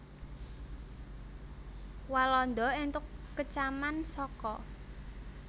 Walanda entuk kecaman saka